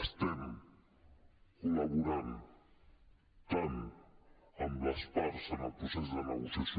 estem col·laborant tant amb les parts en el procés de negociació